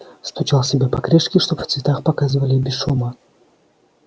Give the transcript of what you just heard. стучал себе по крышке чтобы в цветах показывали и без шума